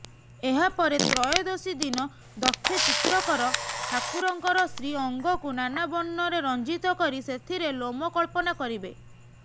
ଏହାପରେ ତ୍ରୟୋଦଶୀ ଦିନ ଦକ୍ଷ ଚିତ୍ରକର ଠାକୁରଙ୍କର ଶ୍ରୀଅଙ୍ଗକୁ ନାନାବର୍ଣ୍ଣରେ ରଂଜିତ କରି ସେଥିରେ ଲୋମ କଳ୍ପନା କରିବେ